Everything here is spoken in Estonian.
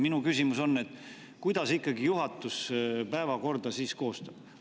Minu küsimus on, kuidas siis juhatus ikkagi päevakorda koostab.